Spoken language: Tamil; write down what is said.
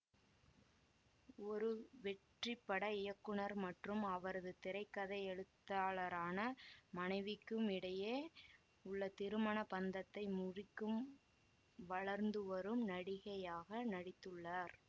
ஒரு வெற்றிப்பட இயக்குநர் மற்றும் அவரது திரை கதை எழுத்தாளரான மனைவிக்கும் இடையே உள்ள திருமண பந்தத்தை முறிக்கும் வளர்ந்துவரும் நடிகையாக நடித்துள்ளார்